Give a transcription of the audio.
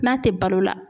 N'a tɛ balo la